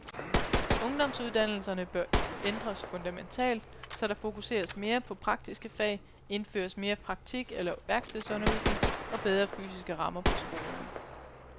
Ungdomsuddannelserne bør ændres fundamentalt, så der fokuseres mere på praktiske fag, indføres mere praktik eller værkstedsundervisning og bedre fysiske rammer på skolerne.